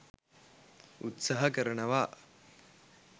උත්සහ කරනවා.